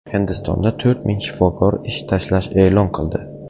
Hindistonda to‘rt ming shifokor ish tashlash e’lon qildi.